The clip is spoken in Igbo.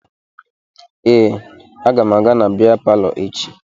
Ee, aga m aga na bịa palọ echi